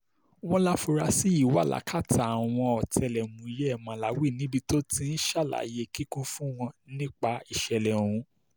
wọ́n láforasí yìí ṣì wà lákàtà àwọn ọ̀tẹlẹ̀múyẹ́ màláwì níbi tó ti ń ṣàlàyé kíkún fún wọn nípa ìṣẹ̀lẹ̀ ọ̀hún